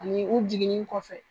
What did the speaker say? Ani u jiginni kɔfɛ.